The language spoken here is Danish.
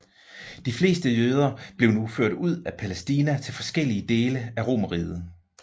De fleste jøder blev nu ført ud af Palæstina til forskellige dele af Romerriget